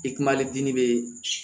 I kumali gini be